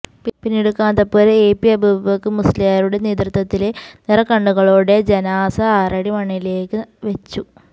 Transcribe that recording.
പിന്നീട് Kanthapuram A P Abubakar മുസ്ലിയാരുടെ നേതൃത്വത്തില് നിറകണ്ണുകളോടെ ജനാസ ആറടി മണ്ണിലേക്ക് വെച്ചു